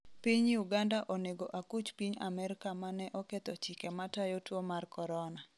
piny Uganda onego akuch piny Amerka mane oketho chike matayo tuo mar Korona